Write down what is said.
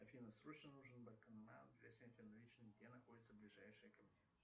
афина срочно нужен банкомат для снятия наличных где находится ближайший ко мне